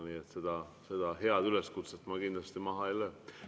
Nii et seda head üleskutset ma kindlasti maha ei löö.